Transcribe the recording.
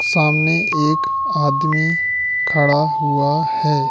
सामने एक आदमी खड़ा हुआ है।